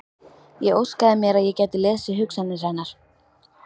Ég óskaði mér að ég gæti lesið hugsanir hennar.